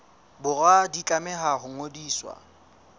borwa di tlameha ho ngodiswa